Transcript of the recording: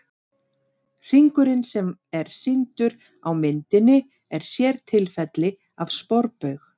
Hringurinn sem er sýndur á myndinni er sértilfelli af sporbaug.